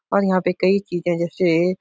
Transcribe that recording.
और यहाँ पे कई चीजें जैसे --